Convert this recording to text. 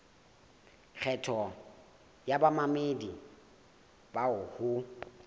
kgetho ya bamamedi bao ho